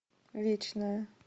вечное